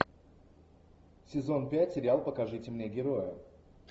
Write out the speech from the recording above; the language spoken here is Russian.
сезон пять сериал покажите мне героя